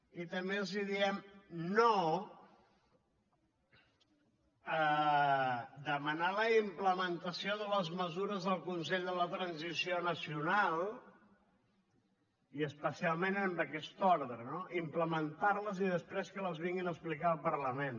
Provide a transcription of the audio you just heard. i també els diem no a demanar la implementació de les mesures del consell de la transició nacional i especialment en aquest ordre no implementar les i després que les vinguin a explicar al parlament